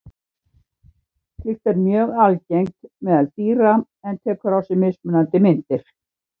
Slíkt er mjög algengt meðal dýra en tekur á sig mismunandi myndir.